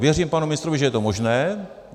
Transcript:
Věřím panu ministrovi, že je to možné.